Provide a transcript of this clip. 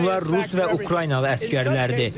Bunlar Rus və Ukraynalı əsgərlərdir.